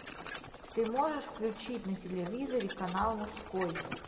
ты можешь включить на телевизоре канал мужской